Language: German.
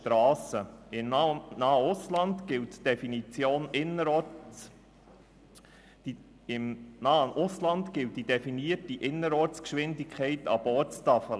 Im nahen Ausland gilt die definierte Innerortsgeschwindigkeit ab Ortstafel.